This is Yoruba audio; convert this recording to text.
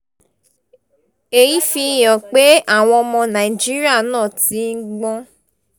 èyí fi hàn pé àwọn ọmọ nàìjíríà náà ti ń gbọ́n